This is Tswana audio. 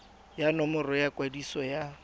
ya nomoro ya kwadiso ya